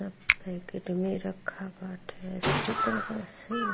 सब पॉकेट में रखा बाटे अच्छी तरह से।